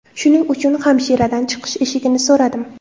Shuning uchun hamshiradan chiqish eshigini so‘radim.